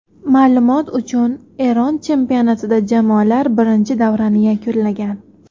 Ma’lumot uchun, Eron chempionatida jamoalar birinchi davrani yakunlagan.